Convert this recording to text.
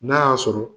N'a y'a sɔrɔ